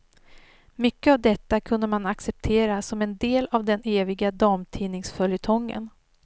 Mycket av detta kunde man acceptera som en del av den eviga damtidningsföljetongen.